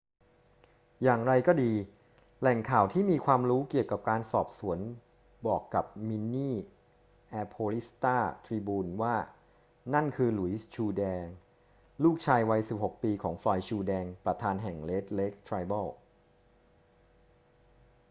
อย่างไรก็ดี แหล่งข่าวที่มีความรู้เกี่ยวกับการสอบสวนบอกกับมินนีแอโพิสสตาร์ทริบูนว่านั่นคือ หลุยส์ ชูร์แดง ลูกชายวัย 16 ปี ของ ฟลอยด์ ชูร์แดง ประธานแห่ง red lake tribal